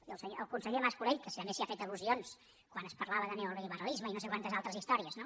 i el conseller mas colell que també s’hi han fet al·lusions quan es parlava de neoliberalisme i no sé quantes altres històries no